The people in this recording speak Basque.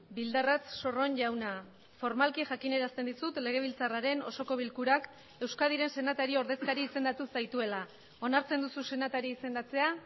bildarratz sorron jauna formalki jakinarazten dizut legebiltzarraren osoko bilkurak euskadiren senatari ordezkari izendatu zaituela onartzen duzu senatari izendatzea